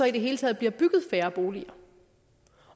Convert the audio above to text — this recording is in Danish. i hele taget blive bygget færre boliger